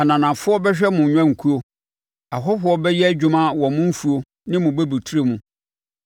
Ananafoɔ bɛhwɛ mo nnwankuo; ahɔhoɔ bɛyɛ adwuma wɔ mo mfuo ne bobeturo mu.